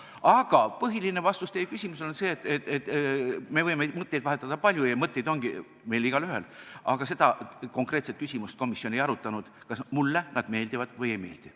Aga põhiline vastus teie küsimusele on see, et me võime mõtteid vahetada palju ja mõtteid ongi meil igaühel, aga seda konkreetset küsimust komisjon ei arutanud, kas mulle need kandidaadid meeldivad või ei meeldi.